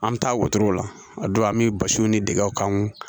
An bɛ taa wotoro la a don an bɛ basiw ni dɛgɛw kan